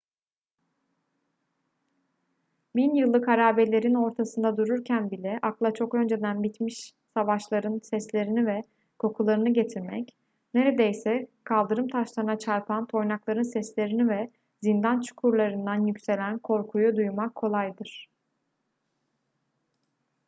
bin yıllık harabelerin ortasında dururken bile akla çok önceden bitmiş savaşların seslerini ve kokularını getirmek neredeyse kaldırım taşlarına çarpan toynakların seslerini ve zindan çukurlarından yükselen korkuyu duymak kolaydır